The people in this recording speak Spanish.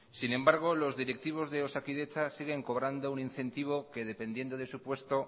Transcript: sin embargo los directivos de osakidetza siguen cobrando un incentivo que dependiendo de su puesto